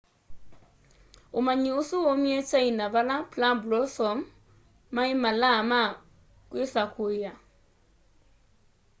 umanyi ũsu waumie china vala plum blossom mai malaa ma kwisakuiya